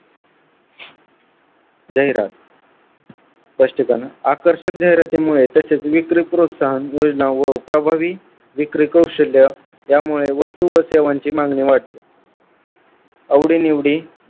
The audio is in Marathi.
जाहिरात स्पष्टीकरण आकर्षक जाहिरातीमुळे त्याचे नेतृत्व स्थान विक्री प्रोत्साहन योजना व प्रभावी विक्री कौशल्य यामुळे वस्तू व सेवांची मागणी वाढते आवडीनिवडी